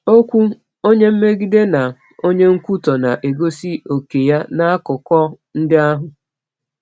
Okwu “Onye Mmegide” na “Onye Nkwutọ” na-egosi òkè ya n’akụkọ ndị ahụ.